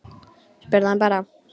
Spurðu hann bara.